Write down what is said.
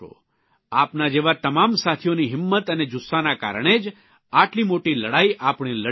આપના જેવા તમામ સાથીઓની હિંમત અને જુસ્સાના કારણે જ આટલી મોટી લડાઇ આપણે લડી રહ્યા છીએ